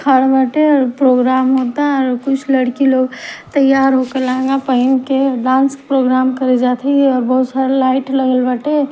बाटे प्रोग्राम होता और कुछ लड़की लोग तैयार होके लहंगा पहन के डांस प्रोग्राम करे जात हई बहुत सारा लाइट लगल बाटे --